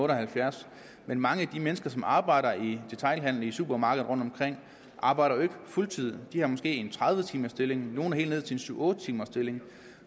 og halvfjerds men mange af de mennesker som arbejder i detailhandelen i supermarkeder rundtomkring arbejder jo ikke fuld tid de har måske en tredive timers stilling og nogle helt ned til en syv otte timers stilling